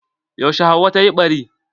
Yaushe Hauwa ta yi ɓari?